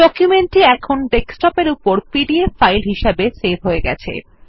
document টি এখন desktop এর উপর পিডিএফ ফাইল হিসাবে সেভ হয়ে গেছে